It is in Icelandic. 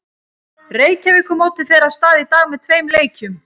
Reykjavíkurmótið fer af stað í dag með tveim leikjum.